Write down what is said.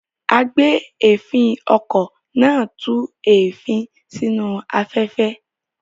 Agbèéfín-okọ̀ náà tú èéfín sínú afẹ́fẹ́.